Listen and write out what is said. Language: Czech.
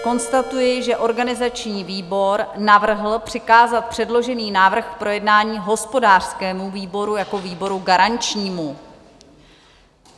Konstatuji, že organizační výbor navrhl přikázat předložený návrh k projednání hospodářskému výboru jako výboru garančnímu.